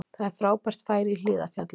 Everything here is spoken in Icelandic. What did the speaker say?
Það er frábært færi í Hlíðarfjalli